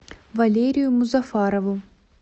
валерию музафарову